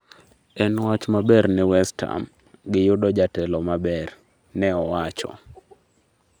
En wach maber ni West Ham, gi yuddo jatelo maber" ne owacho